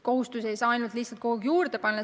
Kohustusi ei saa kogu aeg juurde panna.